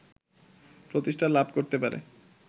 প্রতিষ্ঠা লাভ করতে পারে